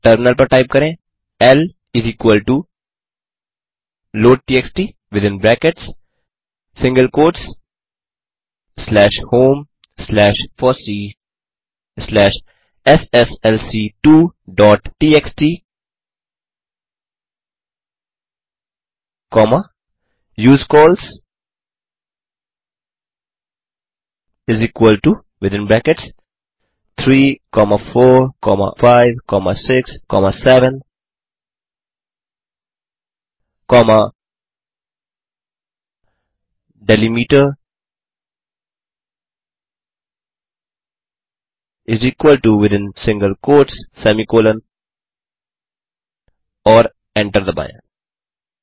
अतः टर्मिनल पर टाइप करें l is equal to load TXT within brackets single quotes slash home slash FOSSEE slash SSLC two dot TXT comma use cols is equal to within brackets 34567 comma delimiter is equal to within single quotes semicolon और enter दबाएँ